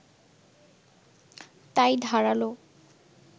তাই ধারালো